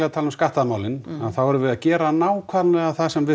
að tala um skattamál þá erum við að gera nákvæmlega það sem við